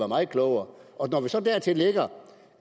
meget klogere og når vi så dertil lægger